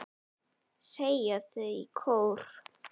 segja þau í kór.